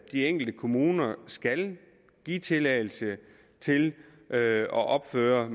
de enkelte kommuner skal give tilladelse til at opføre